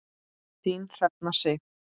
Þín Hrefna Sif.